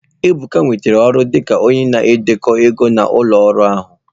Ebuka nwetara ọrụ dị ka onye ndekọ ego nke ụlọ ọrụ ahụ.